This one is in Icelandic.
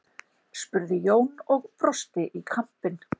spurði Jón og brosti í kampinn.